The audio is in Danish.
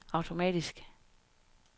automatisk